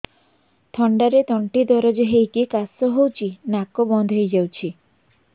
ଥଣ୍ଡାରେ ତଣ୍ଟି ଦରଜ ହେଇକି କାଶ ହଉଚି ନାକ ବନ୍ଦ ହୋଇଯାଉଛି